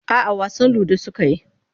A'a wasan ludo suka yi.